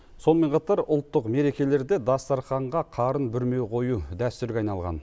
сонымен қатар ұлттық мерекелерде дастарханға қарын бүрме қою дәстүрге айналған